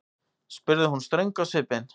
spurði hún ströng á svipinn.